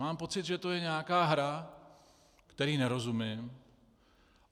Mám pocit, že to je nějaká hra, které nerozumím.